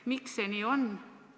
Miks see nii on?